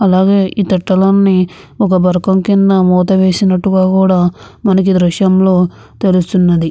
అలాగే ఈ తట్టలన్నీ ఒక బరకం కింద వేసినట్టుగా కూడా మనకి దృశ్యంలో తెలుస్తుంది.